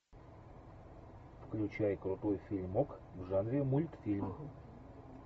включай крутой фильмок в жанре мультфильм